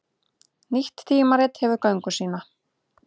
Nýtt tímarit hefur göngu sína